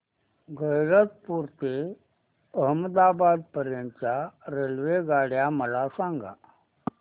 गैरतपुर ते अहमदाबाद पर्यंत च्या रेल्वेगाड्या मला सांगा